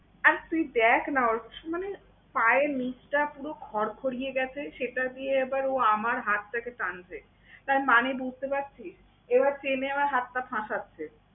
আর তুই দেখ না ওর মানে পায়ের নিচটা পুরো খড়খড়িয়ে গেছে, সেটা দিয়ে ও আবার আমার হাতটাকে টানছে। তার মানে বুঝতে পারছিস? এবার টেনে আমার হাতটা ঠাসাচ্ছে।